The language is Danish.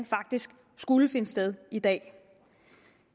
faktisk skulle finde sted i dag